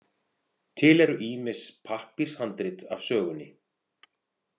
Til eru ýmis pappírshandrit af sögunni.